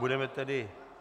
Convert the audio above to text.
Budeme tedy...